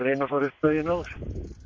fara upp daginn áður